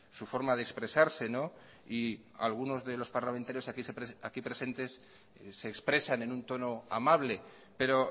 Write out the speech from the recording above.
su forma de expresarse y algunos de los parlamentarios aquí presentes se expresan en un tono amable pero